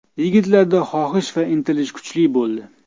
Yigitlarda xohish va intilish kuchli bo‘ldi.